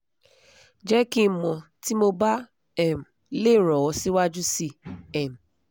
jẹ ki n mọ ti mo ba um le ran ọ siwaju sii um